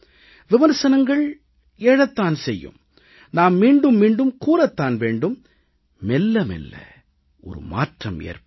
விமர்சனங்கள் எழத்தான் செய்யும் நாம் மீண்டும் மீண்டும் கூறத் தான் வேண்டும் மெல்ல மெல்ல ஒரு மாற்றம் ஏற்படும்